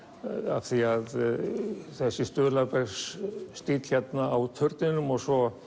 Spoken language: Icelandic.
af því að þessi stuðlabergsstíll á turninum og svo